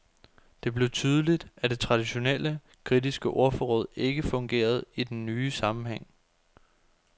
Det blev tydeligt, at det traditionelle, kritiske ordforråd ikke fungerede i denne nye sammenhæng.